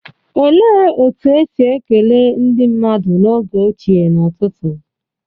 Olee otú e si ekele ndị mmadụ n'oge ochie n'ụtụtụ?